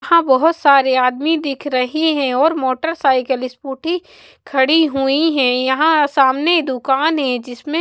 यहाँ बहुत सारे आदमी दिख रहे हैं और मोटरसाइकिल स्कूटी खड़ी हुई हैं यहाँ सामने दुकान है जिसमें--